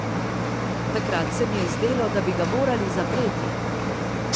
Takrat se mi je zdelo, da bi ga morali zapreti.